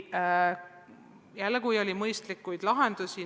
Oli mitmeid mõistlikke lahendusi.